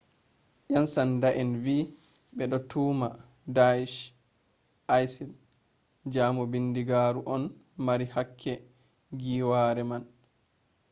yansanda'en vi ɓe ɗo tuhma deash isil jaamu bindigaaru on mari hakke giiwaare man